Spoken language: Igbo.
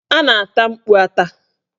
A na-ata mkpu ata.